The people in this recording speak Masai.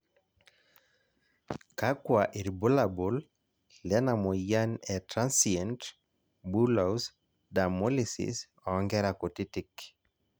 kakua irbulabol lena moyian e Transient bullous dermolysis oo nkera kutitik?